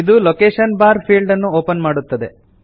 ಇದು location bar field ಅನ್ನು open ಮಾಡುತ್ತದೆ